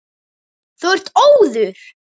Þú ert óður!